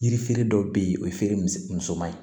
Yiri feere dɔ bɛ yen o ye feere musoman ye